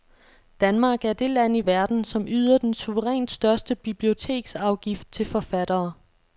Danmark er det land i verden, som yder den suverænt største biblioteksafgift til forfattere.